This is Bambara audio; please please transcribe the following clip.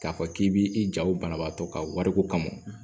K'a fɔ k'i b'i ja o banabaatɔ ka wariko kama